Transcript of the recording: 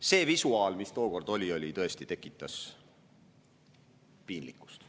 See visuaal, mis tookord oli, tekitas tõesti piinlikkust.